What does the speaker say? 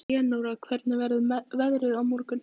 Leónóra, hvernig verður veðrið á morgun?